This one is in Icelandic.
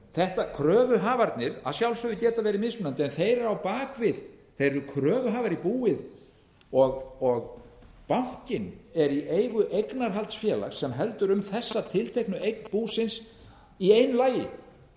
þetta kröfuhafarnir að sjálfsögðu geta verið mismunandi en þeir eru á bak við þeir eru kröfuhafar í búið og bankinn er í eigu eignarhaldsfélags sem heldur um þessa tilteknu eign búsins í einu lagi þannig að